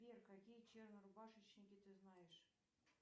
сбер какие чернорубашечники ты знаешь